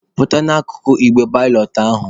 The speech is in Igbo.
Pụta n'akụkụ igbe balọt ahụ!